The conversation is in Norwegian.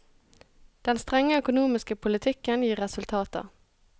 Den strenge økonomiske politikken gir resultater.